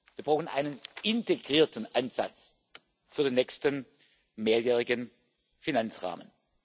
Wir brauchen einen integrierten Ansatz für den nächsten mehrjährigen Finanzrahmen.